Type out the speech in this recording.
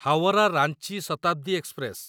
Howrah Ranchi Shatabdi express